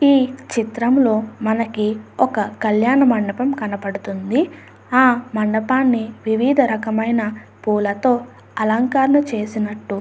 ఈ చిత్రంలో మనకి ఒక కళ్యాణ మండపం కనబడుతుంది. ఆ కళ్యాణ మండపానికి వివిధ రకములైన అలంకరణ చేసినట్టు --